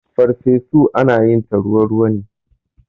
Ferfesu ana yin ta ruwa ruwa ne.